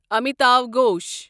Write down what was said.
Amitava Ghosh